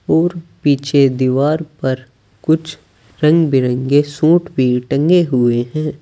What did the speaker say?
और पीछे दीवार पर कुछ रंग बिरंगे सूट भी टंगे हुए हैं।